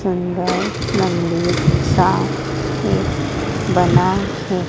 अंदर मंदिर साफ से बना हैं।